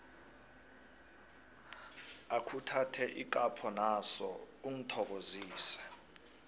akhuthathe ikapho naso ungithokozise